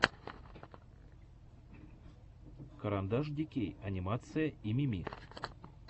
карандашдикей анимация и мими